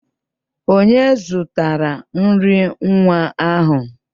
Onye zụtara nri nwa ahụ?